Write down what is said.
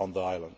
on that island.